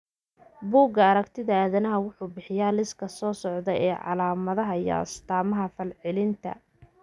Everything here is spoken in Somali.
Bugga Aaragtiyaha Aadanaha wuxuu bixiyaa liiska soo socda ee calaamadaha iyo astaamaha falcelinta arthritis-ka.